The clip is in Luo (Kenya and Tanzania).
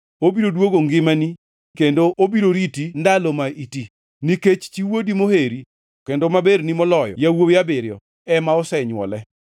Obiro duogo ngimani kendo obiro riti ndalo ma iti. Nikech chi wuodi moheri kendo maberni moloyo yawuowi abiriyo, ema osenywole.”